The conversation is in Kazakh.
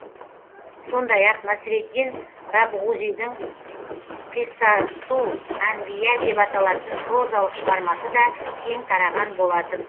сондай ақ насреддин рабғузидің қиссасул әнбия деп аталатын прозалық шығармасы да кең тараған болатын